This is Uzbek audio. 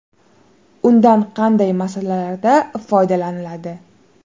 Undan qanday maqsadlarda foydalaniladi?.